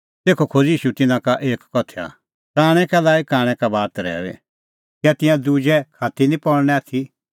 तेखअ खोज़अ ईशू तिन्नां लै एक उदाहरण कांणै कै लाई कांणै का बात रहैऊई कै तिंयां दुहै खात्ती दी निं पल़णै आथी